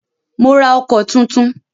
Mó rá ọkọ̀ túntún.